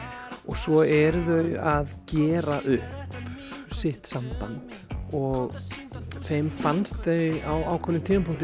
svo eru þau að gera upp sitt samband og þeim fannst þau á ákveðnum tímapunkti